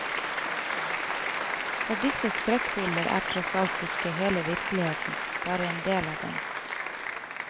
For disse skrekkbilder er tross alt ikke hele virkeligheten, bare en del av den.